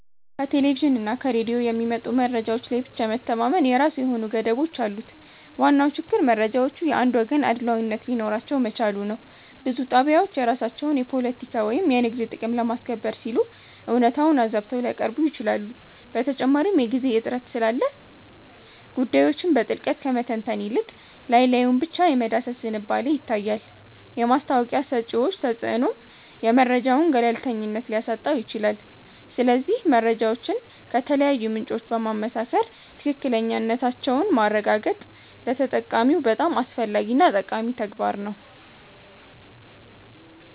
ከቴሌቪዥንና ከሬዲዮ የሚመጡ መረጃዎች ላይ ብቻ መተማመን የራሱ የሆኑ ገደቦች አሉት። ዋናው ችግር መረጃዎቹ የአንድ ወገን አድሏዊነት ሊኖራቸው መቻሉ ነው። ብዙ ጣቢያዎች የራሳቸውን የፖለቲካ ወይም የንግድ ጥቅም ለማስከበር ሲሉ እውነታውን አዛብተው ሊያቀርቡ ይችላሉ። በተጨማሪም የጊዜ እጥረት ስላለ ጉዳዮችን በጥልቀት ከመተንተን ይልቅ ላይ ላዩን ብቻ የመዳሰስ ዝንባሌ ይታያል። የማስታወቂያ ሰጪዎች ተጽዕኖም የመረጃውን ገለልተኝነት ሊያሳጣው ይችላል። ስለዚህ መረጃዎችን ከተለያዩ ምንጮች በማመሳከር ትክክለኛነታቸውን ማረጋገጥ ለተጠቃሚው በጣም አስፈላጊና ጠቃሚ ተግባር ነው